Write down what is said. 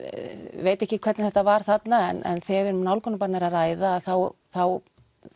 veit ekki hvernig þetta var þarna en þegar um nálgunarbann er að ræða þá þá